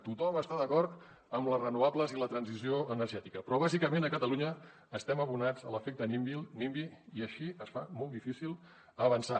tothom està d’acord amb les renovables i la transició energètica però bàsicament a catalunya estem abonats a l’efecte nimby i així es fa molt difícil avançar